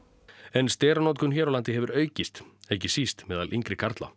en steranotkun hér á landi hefur aukist ekki síst meðal yngri karla